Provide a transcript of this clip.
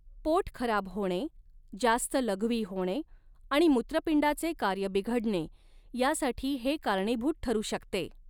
पोट खराब होणे, जास्त लघवी होणे आणि मूत्रपिंडाचे कार्य बिघडणे यासाठी हे कारणीभूत ठरू शकते.